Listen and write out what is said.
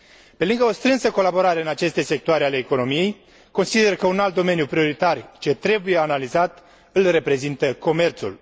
Pe lângă o strânsă colaborare în aceste sectoare ale economiei, consider că un alt domeniu prioritar, ce trebuie analizat, îl reprezintă comerțul.